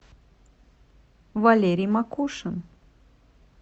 валерий макушин